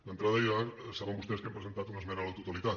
d’entrada ja saben vostès que hi hem presentat una esmena a la totalitat